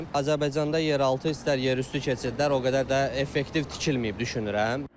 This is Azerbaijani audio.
Azərbaycanda yeraltı, istər yerüstü keçidlər o qədər də effektiv tikilməyib düşünürəm.